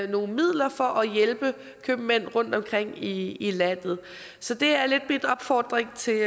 nogle midler for at hjælpe købmænd rundtomkring i i landet så det er lidt min opfordring til